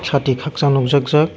hatui kaksa nogjak jak jak.